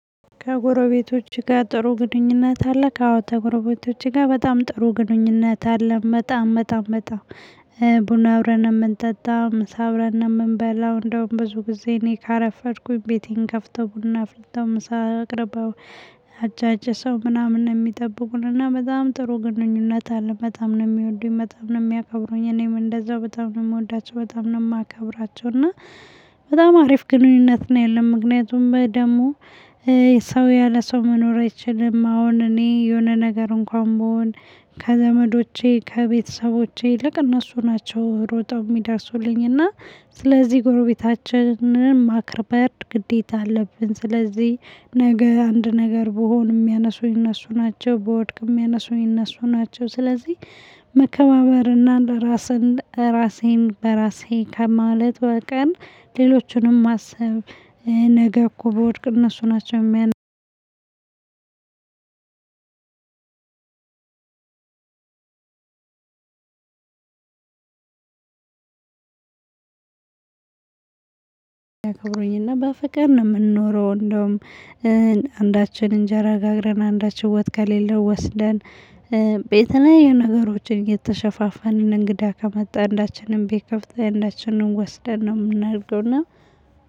ከጎረቤቶች ጋር ጥሩ ግንኙነት አለህ? አዎ ከጎረቤቶቼ ጋር በጣም ጥሩ ግንኙነት አለ በጣም በጣም በጣም። ቡና አብረን ነው የምንጠጣው ምሳ አብረን ነው የምንበላው እንደውም ብዙ ጊዜ እኔ ካረፈድኩኝ ቤቴን ከፍተው ቡና አፍልተው ምሳ አቅርበው። አጫጭሰው ምናምን ነው የሚጠብቁን እና በጣም ጥሩ ግንኙነት አለ በጣም ነው የሚወዱኝ በጣም ነው የሚያከብሩኝ። እኔም እንደዛው በጣም ነው የምወዳቸው በጣም ነው የማከብራቸው። እና። በጣም አሪፍ ግንኙነት ነው ያለው ምክንያቱም ደግሞ ሰው ያለ ሰው መኖር አይችልም። አሁን እኔ የሆነ ነገር እንኳን ብሆን ከዘመዶቼ ከቤተሰቦቼ ይልቅ እነሱ ናቸው ሮጠው የሚደርሱልኝ እና ስለዚህ ጎረቤታችንን ማክበር ግዴታ አለብን። ስለዚህ ነገ አንድ ነገር ብሆን የሚያነሱኝ እነሱ ናቸው። ብወድቅ የሚያነሱኝ እነሱ ናቸው። ስለዚህ መከባበርና ለራስህ ራሴን በራሴ ከማለት በቀር ሌሎቹንም ማሰብ ነገ እኮ ብወድቅ እነሱ ናቸው። አክብሮኝና በፍቅር ነው ምንኖረው። እንደውም አንዳችን እንጀራ ጋግረን አንዳችን ወጥ ከሌለን ወስደን። በየተለያዩ ነገሮች እየተሸፋፈንን እንግዳ ከመጣ አንዳችንም ቤት ከፍተን አንዳችንን ወስደን ነው የምናደርገው እና